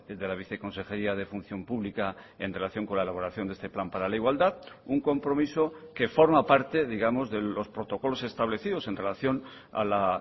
de la viceconsejería de función pública en relación con la elaboración de este plan para la igualdad un compromiso que forma parte digamos de los protocolos establecidos en relación a la